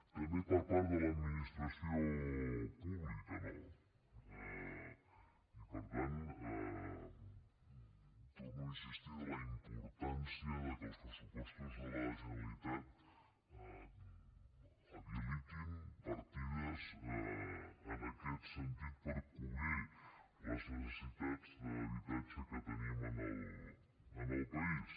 també per part de l’administració pública no i per tant torno a insistir en la importància que els pressupostos de la generalitat habilitin partides en aquest senti per cobrir les necessitats d’habitatge que tenim en el país